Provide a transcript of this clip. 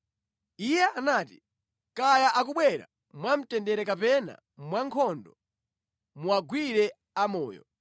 Iye anati, “Kaya akubwera mwamtendere kapena mwankhondo, muwagwire amoyo.”